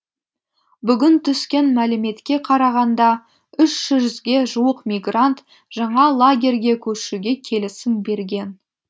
бүгін түскен мәліметке қарағанда үш жүзге жуық мигрант жаңа лагерге көшуге келісім берген